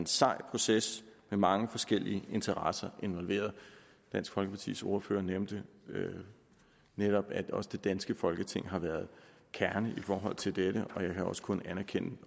sej proces med mange forskellige interesser involveret dansk folkepartis ordfører nævnte netop at også det danske folketing har været kernen i forhold til dette og jeg kan også kun anerkende